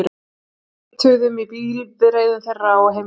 Við leituðum í bifreiðum þeirra og á heimilum.